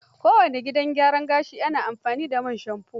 Kowane gidan gyara gashi na amfani da man shamfo.